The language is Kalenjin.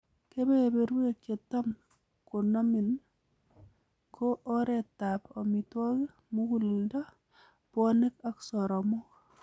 Kebeberwek chetam konomin ko oretab omitwokik, muguleldo, bwonek ak soromo.